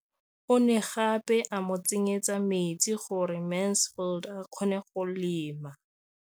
O ne gape a mo tsenyetsa metsi gore Mansfield a kgone go lema.